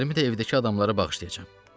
Tellərimi də evdəki adamlara bağışlayacam.